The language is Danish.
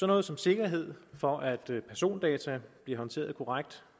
noget som sikkerhed for at persondata bliver håndteret korrekt